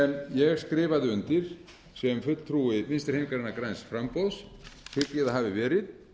sem ég skrifaði undir sem fulltrúi vinstri hreyfingarinnar græns framboðs hygg ég að hafi verið